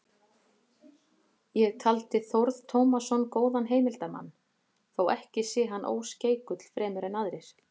Ég taldi Þórð Tómasson góðan heimildarmann, þó ekki sé hann óskeikull fremur en aðrir.